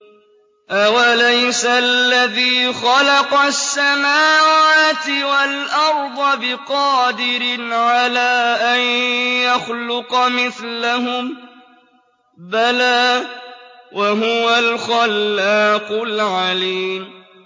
أَوَلَيْسَ الَّذِي خَلَقَ السَّمَاوَاتِ وَالْأَرْضَ بِقَادِرٍ عَلَىٰ أَن يَخْلُقَ مِثْلَهُم ۚ بَلَىٰ وَهُوَ الْخَلَّاقُ الْعَلِيمُ